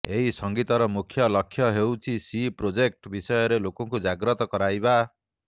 ଏହି ସଙ୍ଗୀତର ମୁଖ୍ୟଲକ୍ଷ୍ୟ ହେଉଛି ସି ପ୍ରୋଜେକ୍ଟ ବିଷୟରେ ଲୋକଙ୍କୁ ଜାଗ୍ରତ କରାଇବା